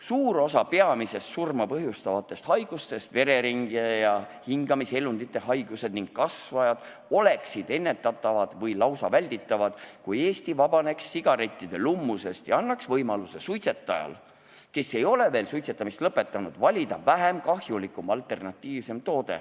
Suur osa peamistest surma põhjustavatest haigustest – vereringe ja hingamiselundite haigused ning kasvajad – oleksid ennetatavad või lausa välditavad, kui Eesti vabaneks sigarettide lummusest ja annaks võimaluse suitsetajale, kes ei ole veel suitsetamist lõpetanud, valida vähem kahjulik alternatiivne toode.